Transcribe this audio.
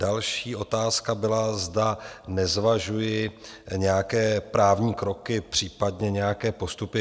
Další otázka byla, zda nezvažuji nějaké právní kroky, případně nějaké postupy.